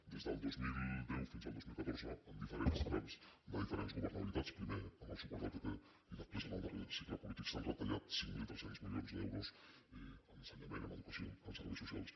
des del dos mil deu fins al dos mil catorze en diferents trams de diferents governabilitats primer amb el suport del pp i després en el darrer cicle polític s’han retallat cinc mil tres cents milions d’euros en ensenyament en educació en serveis socials